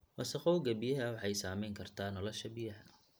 Wasakhowga biyaha waxay saamayn kartaa nolosha biyaha.